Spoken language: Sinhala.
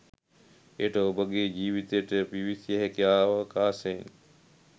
එයට ඔබගේ ජීවිතයට පිවිසිය හැකි අවකාශයන්